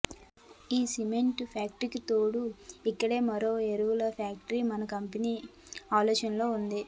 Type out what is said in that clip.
ఈ సిమెంటు ఫ్యాక్టరీకి తోడు ఇక్కడే మరో ఎరువుల ఫ్యాక్టరీ మన కంపెనీ ఆలోచనలో ఉంది